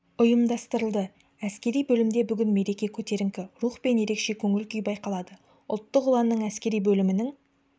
ұйымдастырылды әскери бөлімде бүгін мереке көтеріңкі рух пен ерекше көңіл-күй байқалады ұлттық ұланның әскери бөлімінің